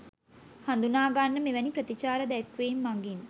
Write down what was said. හඳුනා ගන්න මෙවැනි ප්‍රතිචාර දක්වීම් මගින්